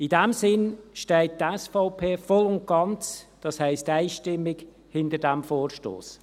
In diesem Sinn steht die SVP voll und ganz, das heisst einstimmig, hinter diesem Vorstoss.